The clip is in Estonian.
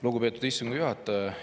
Lugupeetud istungi juhataja!